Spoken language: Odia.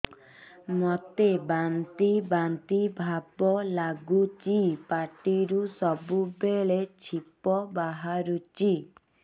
ମୋତେ ବାନ୍ତି ବାନ୍ତି ଭାବ ଲାଗୁଚି ପାଟିରୁ ସବୁ ବେଳେ ଛିପ ବାହାରୁଛି